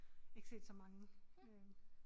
Ikke set så mange øh